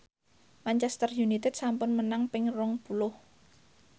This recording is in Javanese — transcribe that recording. Manchester united sampun menang ping rong puluh